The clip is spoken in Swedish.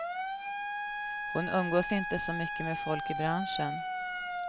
Hon umgås inte så mycket med folk i branschen.